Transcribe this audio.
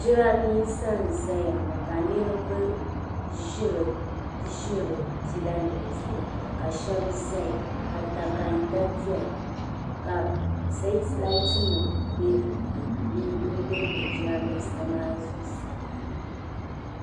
Jiranbisa n ʒaya ŋɔ ka niribi ʒi di pila nim zuɣu ka shabi ʒaya ka da kan da doya ka k sete laatimnim be jiran bisa maa zuɣu saa.